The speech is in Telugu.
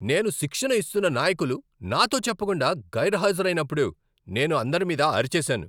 నేను శిక్షణ ఇస్తున్న నాయకులు నాతో చెప్పకుండా గైర్హాజరైనప్పుడు నేను అందరిమీద అరిచేసాను.